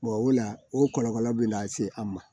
o la o kɔlɔlɔ bɛ na se an ma